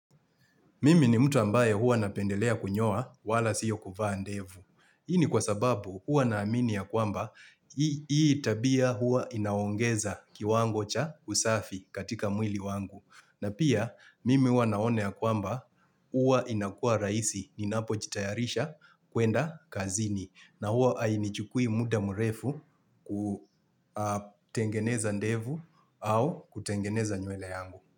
Mimi ni mtu ambaye huwa napendelea kunyoa wala sio kuvaa ndevu. Hii ni kwa sababu huwa naamini ya kwamba hii tabia huwa inaongeza kiwango cha usafi katika mwili wangu. Na pia mimi huwa naona ya kwamba huwa inakua rahisi ninapojitayarisha kuenda kazini. Na huwa hainichukui muda mrefu kutengeneza ndevu au kutengeneza nywele yangu.